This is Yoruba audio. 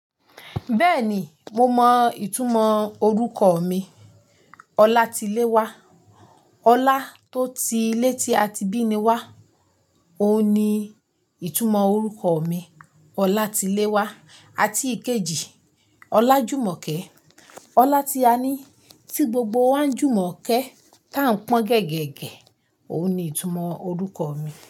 Bẹ́ẹ̀ni, mo mọ ìtumọ̀ orúkọ mi Ọlátiléwá. Ọlá tó ti lé tí a ti bí ni wá, òun ni ìtumọ̀ orúkọ mi Ọlátiléwá. Àti ìkejì Ọlájùmọ́kẹ́, Ọlá tí a ní tí gbogbo wa ń jùmọ̀ kẹ́ táa ń pọ́n gẹ́gẹ́ gẹ, òun ni ìtumọ̀ orúkọ mi.